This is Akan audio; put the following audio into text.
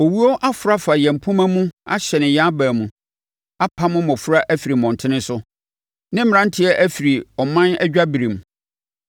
Owuo aforo afa yɛn mpomma mu ahyɛne yɛn aban mu; apamo mmɔfra afiri mmɔntene so ne mmeranteɛ afiri ɔman adwaberem.